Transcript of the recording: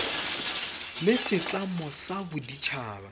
la setlamo sa bodit haba